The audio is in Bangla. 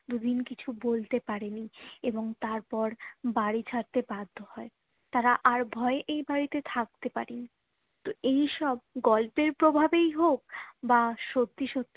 দু দিন কিছু বলতে পারিনি এবং তারপর বাড়ি ছাড়তে বাধ্য হয়ে তারা আর ভয়ে এই বাড়িতে থাকতে পারিনি তো এই সব গল্পের প্রভাবেই হোক বা সত্যি সত্যি হোক